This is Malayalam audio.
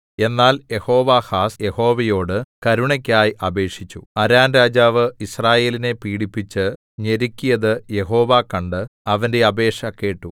എന്നാൽ യെഹോവാഹാസ് യഹോവയോട് കരുണയ്ക്കായി അപേക്ഷിച്ചു അരാം രാജാവ് യിസ്രായേലിനെ പീഡിപ്പിച്ച് ഞെരുക്കിയത് യഹോവ കണ്ട് അവന്റെ അപേക്ഷ കേട്ടു